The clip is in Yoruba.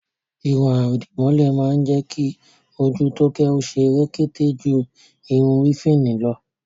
Irun àdìmọ́lẹ̀ má ń jẹ́ kí ojú Tóóké ó ṣe rekete ju irun wéfìnì lọ